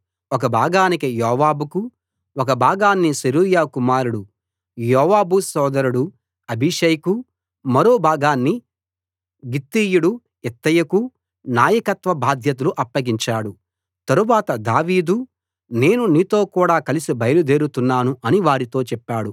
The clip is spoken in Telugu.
ఒక భాగానికి యోవాబుకు ఒక భాగాన్ని సెరూయా కుమారుడు యోవాబు సోదరుడు అబీషైకు మరో భాగాన్ని గిత్తీయుడు ఇత్తయికు నాయకత్వ బాధ్యతలు అప్పగించాడు తరువాత దావీదు నేను మీతోకూడా కలసి బయలుదేరుతున్నాను అని వారితో చెప్పాడు